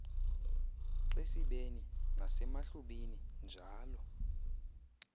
xesibeni nasemahlubini njalo